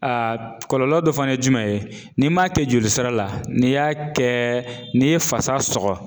Aa kɔlɔlɔ dɔ fana ye jumɛn ye n'i m'a kɛ jolisira la n'i y'a kɛ n'i ye fasa sɔgɔ